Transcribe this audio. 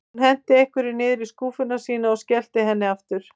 Hún henti einhverju niður í skúffuna sína og skellti henni aftur.